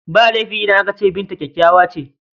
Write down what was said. Ba laifi idan aka ce Binta kyakkyawa ce..